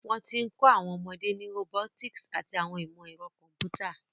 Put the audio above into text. Wọ́n ti ń kọ́ àwọn ọmọdé ní robotics àti ìmọ̀ ẹ̀rọ kọ̀m̀pútà.